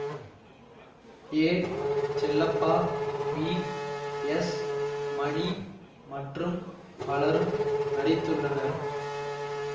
ஏ Chellappa V S Mani மற்றும் பலரும் நடித்துள்ளனர்